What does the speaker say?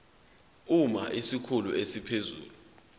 uma isikhulu esiphezulu